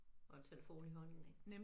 Og en telefon i hånden ik